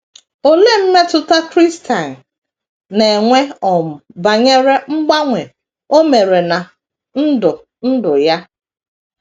Olee mmetụta Christine na - enwe um banyere mgbanwe o mere ná ndụ ndụ ya?